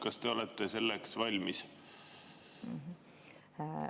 Kas te olete selleks valmis?